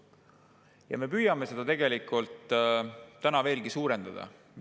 Ja me püüame seda tegelikult täna veelgi suurendada.